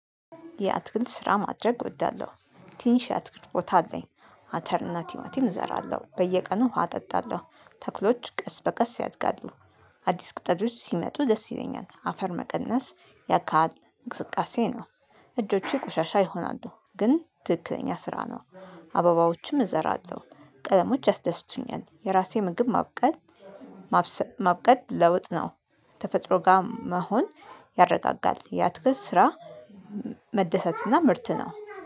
የአትክልት ስራ ማድረግ እወዳለሁ። ትንሽ አትክልት ቦታ አለኝ። አተርና ቲማቲም እዘራለሁ በየቀኑ ውሃ እጠጣለሁ። ተክሎች ቀስ በቀስ ያድጋሉ። አዲስ ቅጠሎች ሲመጡ ደስ ይለኛል አፈር መቀነስ ያካት እውቀት ነው። እጆቼ ቆሻሻ ይሆናሉ ግን ትክክለኛ ስራ ነው። አበባዎችም እዘራለሁ ቀለሞች አስደስቱኛል። የራሴ ምግብ ማብቀድ ማብቀል ለውጥ ነው። ተፈጥሮ ጋር መሆን ያረጋጋል። የአትክስት ስራ መደሰትና ምርት ነው